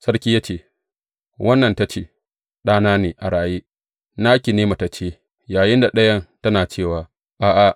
Sarki ya ce, Wannan ta ce, Ɗana ne a raye, naki ne matacce,’ yayinda ɗayan tana cewa, A’a!